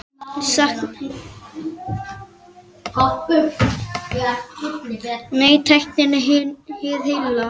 Hver veit hvað gerist?